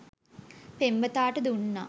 පෙම්වතාට දුන්නා